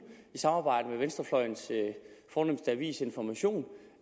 i samarbejde med venstrefløjens fornemste avis information